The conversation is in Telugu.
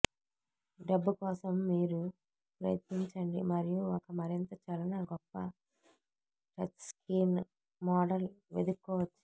డబ్బు కోసం మీరు ప్రయత్నించండి మరియు ఒక మరింత చలన గొప్ప టచ్స్క్రీన్ మోడల్ వెదుక్కోవచ్చు